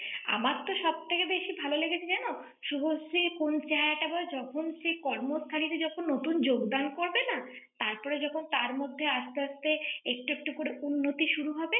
আমার তো সব থেকে বেশি ভালো লেগেছে জানো? শুভশ্রী কোন আবার যখন সেই করমস্থানেতে যখন নতুন যোগদান করবেন না। তার পরে যখন তার মধ্যে আস্তে আস্তে, একটু একটু করে উন্নতি শুরু হবে।